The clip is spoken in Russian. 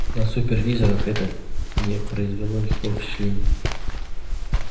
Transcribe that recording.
на супервизорах это не произвело никакого впечатления